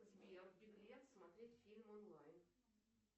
сбер беглец смотреть фильм онлайн